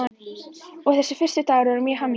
Og þessir fyrstu dagar voru mjög hamingjuríkir.